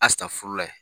foro la yen